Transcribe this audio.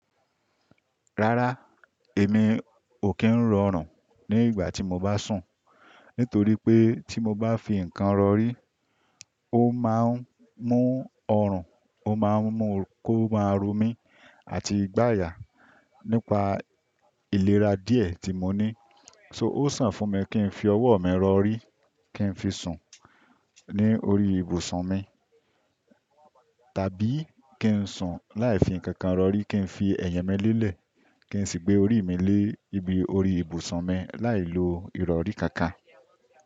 Rárá, èmi ò kí ń rọrùn ní ìgbà tí mo bá sùn, nítorí pé tí mo bá fi nǹkan rọrí, ó máa ń mú ọrùn, ó máa ń mú kó máa ro mí àti gbaya nípa ìlera díẹ̀ tí mo ní. So ó sàn fún mi kí n fi ọwọ́ mi rọrí kí n fi sùn ní orí ibùsùn mi, tàbí kí n sùn láì fi nkankan rọrí, kí n fi ẹ̀yẹ mi lélẹ̀, kí n sì gbé orí mi lé ibi orí ibùsùn mi láì lo ìrọrí kankan.